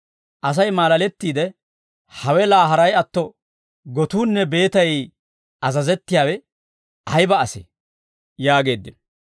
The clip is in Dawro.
Asay maalalettiide, «Hawe laa haray atto, gotuunne beetay azazettiyaawe ayba asee?» yaageeddino.